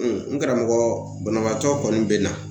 n karamɔgɔ banabaatɔ kɔni bɛ na